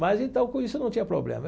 Mas então com isso não tinha problema.